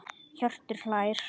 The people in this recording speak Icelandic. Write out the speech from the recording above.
Hjörtur hlær.